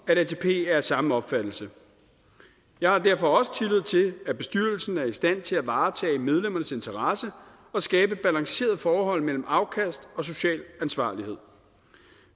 at atp er af samme opfattelse jeg har derfor også tillid til at bestyrelsen er i stand til at varetage medlemmernes interesse og skabe et balanceret forhold mellem afkast og social ansvarlighed